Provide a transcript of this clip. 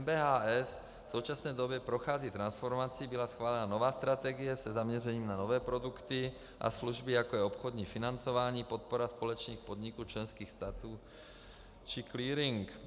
MBHS v současné době prochází transformací, byla schválena nová strategie se zaměřením na nové produkty a služby, jako je obchodní financování, podpora společných podniků členských států či clearing.